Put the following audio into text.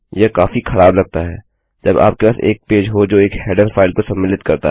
यह काफी खराब लगता है जब आपके पास एक पेज हो जो एक हेडरफाइल को सम्मिलित करता है